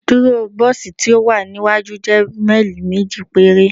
Ibuduro bosi ti o wa niwaju jẹ maili meji pere